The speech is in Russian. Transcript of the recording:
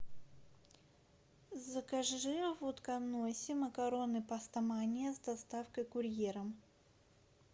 закажи в утконосе макароны пастомания с доставкой курьером